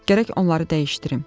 Gərək onları dəyişdirim.